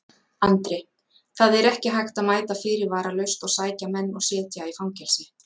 Andri: Það er ekki hægt að mæta fyrirvaralaust og sækja menn og setja í fangelsi?